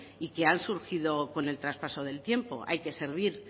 y que han surgido con el traspaso del tiempo hay que servir